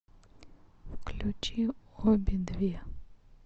включи обе две